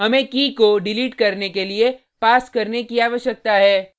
हमें कीkey को डिलीट करने के लिए पास करने की आवश्यकता है